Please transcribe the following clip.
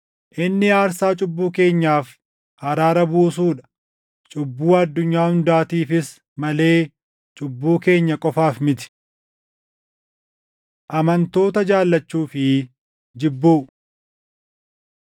Inni aarsaa cubbuu keenyaaf araara buusuu dha; cubbuu addunyaa hundaatiifis malee cubbuu keenya qofaaf miti. Amantoota Jaallachuu fi Jibbuu